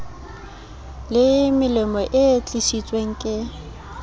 le melemo e tlisitsweng ke